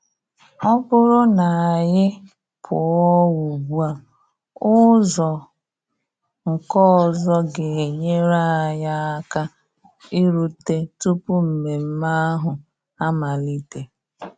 Ọ bụrụ na anyị pụọ ugbua, ụzọ nke ọzọ ga-enyere anyị aka irute tupu mmemme ahụ amalite.